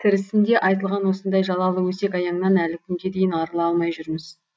тірісінде айтылған осындай жалалы өсек аяңнан әлі күнге дейін арыла алмай жүрміз